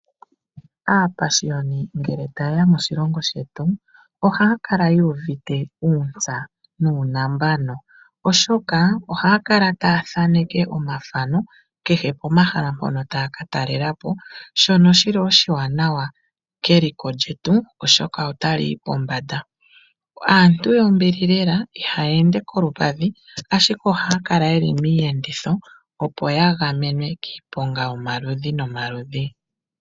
Aapashiyoni ngele ta yeya moshilongo shetu ohaya kala yu uvite uuntsa nuunambano Oshoka ohaya kala taya thaneke omathano kehe pomahala mpono ta ya ka talelapo shono shili oshiwanawa keliko lyetu oshoka otali yi pombanda. aantu yombili lela ihaya ende koompadhi ashike ohaya kala yeli miyenditho opo ya gamenwe kiiponga yomaludhi no maludhi.